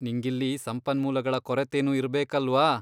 ನಿಂಗಿಲ್ಲಿ ಸಂಪನ್ಮೂಲಗಳ ಕೊರತೆನೂ ಇರ್ಬೇಕಲ್ವಾ?